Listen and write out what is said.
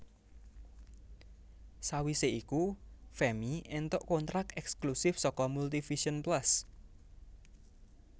Sawise iku Femmy éntuk kontrak ekslusif saka Multivision Plus